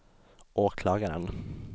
åklagaren